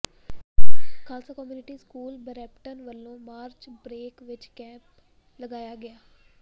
Khalsa community school Brampton ਵੱਲੋਂ March break ਵਿੱਚ camp ਲਗਾਇਆ ਗਿਆ